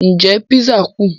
Ǹjẹ́ písà kù?